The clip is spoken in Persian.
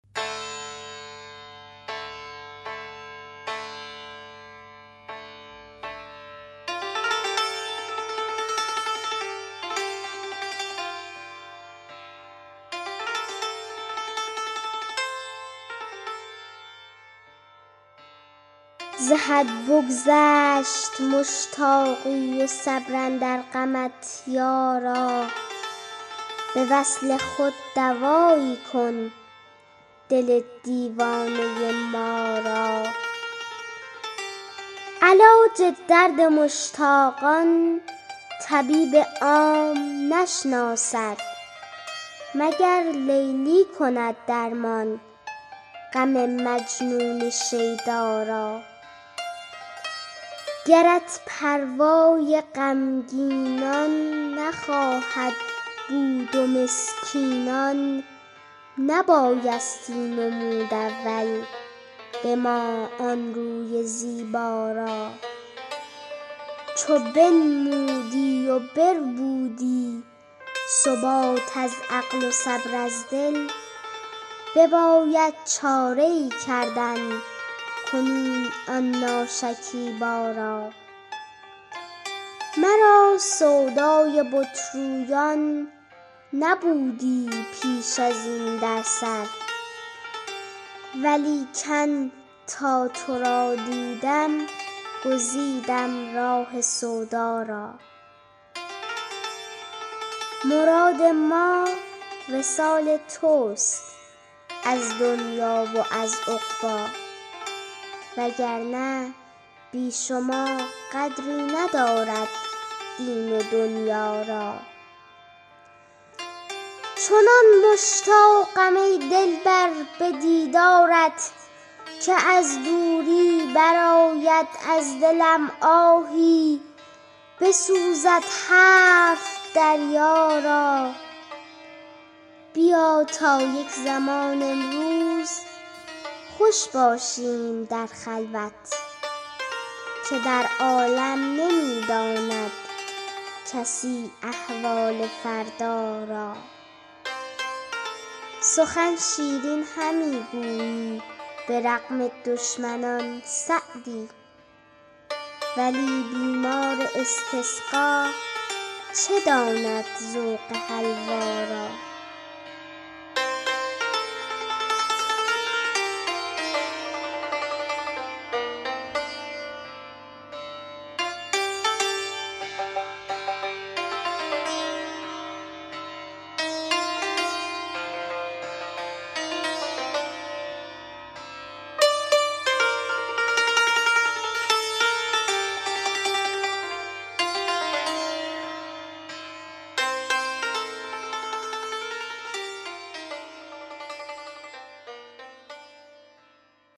ز حد بگذشت مشتاقی و صبر اندر غمت یارا به وصل خود دوایی کن دل دیوانه ما را علاج درد مشتاقان طبیب عام نشناسد مگر لیلی کند درمان غم مجنون شیدا را گرت پروای غمگینان نخواهد بود و مسکینان نبایستی نمود اول به ما آن روی زیبا را چو بنمودی و بربودی ثبات از عقل و صبر از دل بباید چاره ای کردن کنون آن ناشکیبا را مرا سودای بت رویان نبودی پیش ازین در سر ولیکن تا تو را دیدم گزیدم راه سودا را مراد ما وصال تست از دنیا و از عقبی وگرنه بی شما قدری ندارد دین و دنیا را چنان مشتاقم ای دلبر به دیدارت که از دوری برآید از دلم آهی بسوزد هفت دریا را بیا تا یک زمان امروز خوش باشیم در خلوت که در عالم نمی داند کسی احوال فردا را سخن شیرین همی گویی به رغم دشمنان سعدی ولی بیمار استسقا چه داند ذوق حلوا را